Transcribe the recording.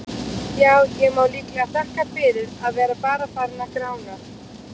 Já, ég má líklega þakka fyrir að vera bara farinn að grána.